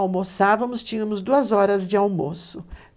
Almoçávamos, tínhamos duas horas de almoço.